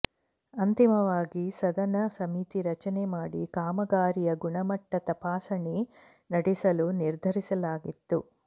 ಅಂತಿಮವಾಗಿ ಸದನ ಸಮಿತಿ ರಚನೆ ಮಾಡಿ ಕಾಮಗಾರಿಯ ಗುಣಮಟ್ಟ ತಪಾಸಣೆ ನಡೆಸಲು ನಿರ್ಧರಿಸಲಾಗಿತ್ತು